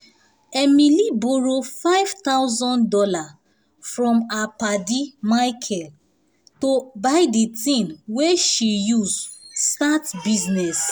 emily borrow five thousand dollars from her paddy michael to buy the thing wey she use start her business